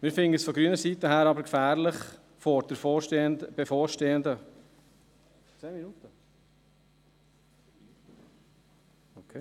Wir finden es von grüner Seite her aber gefährlich, vor der bevorstehenden… Okay.